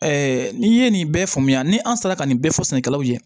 n'i ye nin bɛɛ faamuya ni an sera ka nin bɛɛ fɔ sɛnɛkɛlaw ye